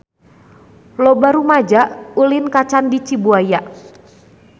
Loba rumaja ulin ka Candi Cibuaya